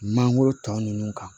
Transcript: Mangoro tɔ ninnu kan